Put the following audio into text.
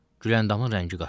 Güləndamın rəngi qaçdı.